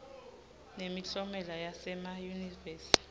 nemiklomelo yasema yunivesi